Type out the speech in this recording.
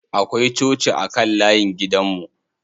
Akwai coci a kan layin gidan mu.